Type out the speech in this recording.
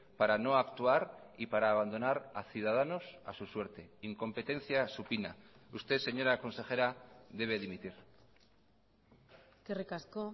para no actuar y para abandonar a ciudadanos a su suerte incompetencia supina usted señora consejera debe dimitir eskerrik asko